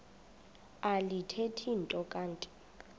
alithethi nto kanti